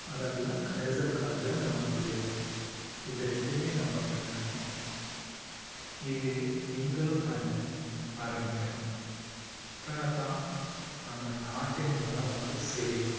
அதெல்லாம் கரிசல்காட்டுல நம்ம விதைப்போம். இது ரெண்டுமே நாங்க பண்றோம். இது நீங்களும் பண்ண ஆரமிக்கணும் அப்பன்னா தான் நம்ம நாட்டின் வளம் வந்து செழிக்கும்